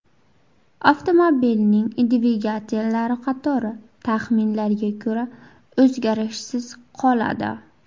Avtomobilning dvigatellari qatori, taxminlarga ko‘ra, o‘zgarishsiz qoladi.